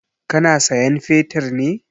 Ka na sayan fetir ne?